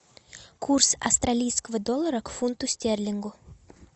курс австралийского доллара к фунту стерлингу